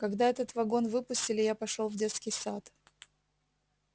когда этот вагон выпустили я пошёл в детский сад